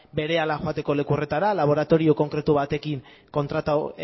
berehala joateko leku horretara laboratorio konkretu batekin kontratatu